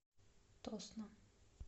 тосно